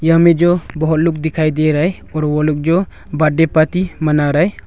यहां में जो बहुत लोग दिखाई दे रहा है और वह लोग जो बर्थडे पार्टी मना रहा है।